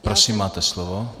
Prosím, máte slovo.